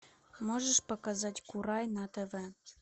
можешь показать курай на тв